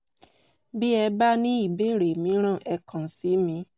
bí ẹ bá ní ìbéèrè mìíràn ẹ kàn sí mi